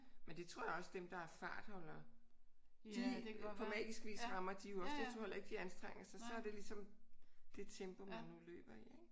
Men det tror jeg også dem der er fartholdere de på magisk vis rammer de jo også. Jeg tror heller ikke de anstrenger sig. Så er det ligesom det tempo man nu løber i ik?